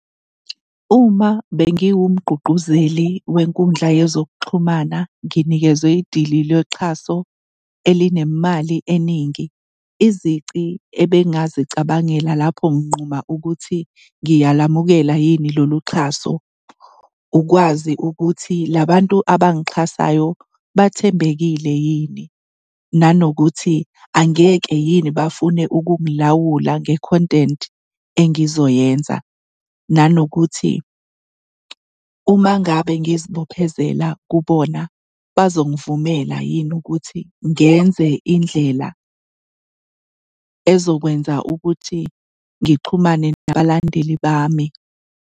Uma bengiwumgqugquzeli wenkundla yezokuxhumana nginikezwe idili loxhaso elinemali eningi, izici ebengingazicabangela lapho nginquma ukuthi ngiyalamukela yini lolu xhaso ukwazi ukuthi la bantu abangixhasayo bathembekile yini, nanokuthi angeke yini bafune ukungilawula nge-content engizoyenza, nanokuthi uma ngabe ngizibophezela kubona bazongivumela yini ukuthi ngenze indlela ezokwenza ukuthi ngixhumane nabalandeli bami.